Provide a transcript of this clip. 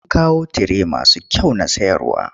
Mun kawo tire masu kyau na sayarwa.